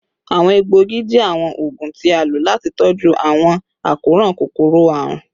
Awọn egboogi jẹ awọn oogun ti a lo lati tọju awọn akoran kokoro-arun